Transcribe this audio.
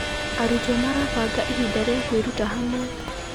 Arutwo marabanga ihinda rĩa kwĩruta hamwe.